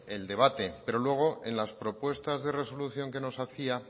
el debate pero luego en las propuestas de resolución que nos hacía